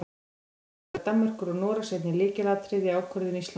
Þá var þátttaka Danmerkur og Noregs einnig lykilatriði í ákvörðun Íslands.